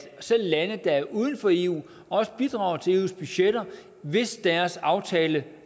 selv lande der er uden for eu også bidrager til eus budgetter hvis deres aftale